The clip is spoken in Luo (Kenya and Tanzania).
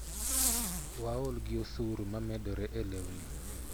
Waol gi osuru ma medore e lewni.